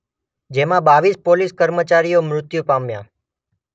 જેમાં બાવીસ પોલીસ કર્મચારીઓ મૃત્યુ પામ્યા.